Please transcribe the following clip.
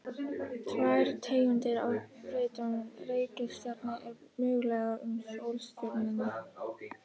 tvær tegundir af brautum reikistjarna eru mögulegar um sólstjörnurnar